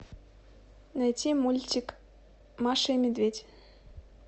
найти мультик маша и медведь